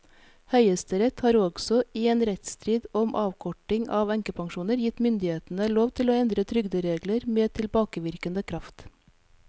Høyesterett har også i en rettsstrid om avkorting av enkepensjoner gitt myndighetene lov til å endre trygderegler med tilbakevirkende kraft.